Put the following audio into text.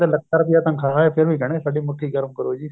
ਲੱਖਾਂ ਰੁਪਏ ਤਨਖਾਹ ਏ ਫ਼ੇਰ ਵੀ ਕਹਿਣ ਗਏ ਸਾਡੀ ਮੁੱਠੀ ਗਰਮ ਕਰੋ ਜੀ